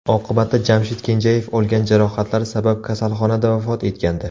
Oqibatda Jamshid Kenjayev olgan jarohatlari sabab kasalxonada vafot etgandi.